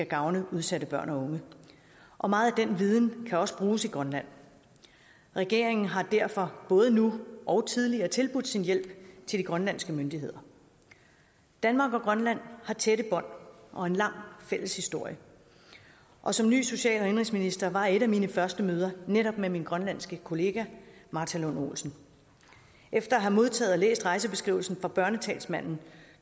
gavn for udsatte børn og unge og meget af den viden kan også bruges i grønland regeringen har derfor både nu og tidligere tilbudt sin hjælp til de grønlandske myndigheder danmark og grønland har tætte bånd og en lang fælles historie og som ny social og indenrigsminister var et af mine første møder netop med min grønlandske kollega martha lund olsen efter at have modtaget og læst rejsebeskrivelsen fra børnetalsmanden